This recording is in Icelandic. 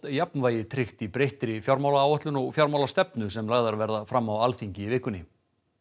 jafnvægi tryggt í breyttri fjármálaáætlun og fjármálastefnu sem lagðar verða fram á Alþingi í vikunni